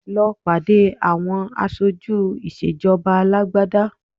Lọ pàdé àwọn aṣojú ìṣèjọba alágbádá